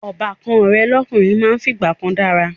Ọbàkan rẹ̀ lọ́kùnrin máa ń fìgbà kan dára